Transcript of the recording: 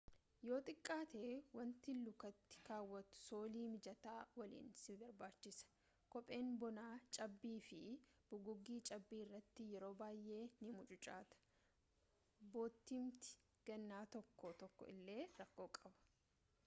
yoo xiqqaaate wanti lukatti kaawwattu soolii mijataa waliin si barbaachisa kopheen bonaa cabbii fi bugugii cabbii irratti yeroo baay'ee ni mucucaata boottiimti gannaa tokko tokko illee rakkoo qaba